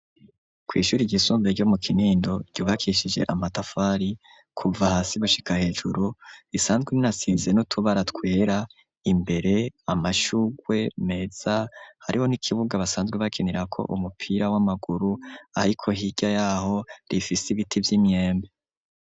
Kw'ishure ry'isumbuye ryo mu kinindo ryubakishije amatafari kuva hasi gushika hejuru isanzwe inasize no tubaratwera imbere amashurwe meza hariho n'ikibuga basanzwe bakinira ko umupira w'amaguru ariko hirya yaho rifise ibiti vy'imyembe.